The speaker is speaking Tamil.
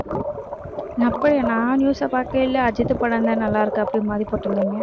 நான் news அ பார்க்கையில அஜித் படம்தான் நல்லாருக்கு அப்படின்னு மாதிரி போட்டிருந்தாங்க